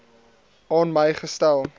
aan my gestel